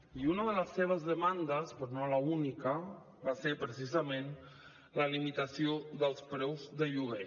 i una de les seves demandes però no l’única va ser precisament la limitació dels preus de lloguer